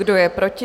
Kdo je proti?